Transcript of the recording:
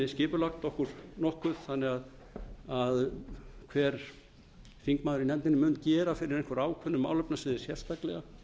skipulag okkur nokkuð þannig að hver þingmaður í nefndinni mun gera fyrir einhverju ákveðnu málefnasviði sérstaklega